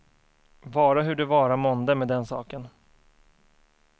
Vara hur det vara månde med den saken.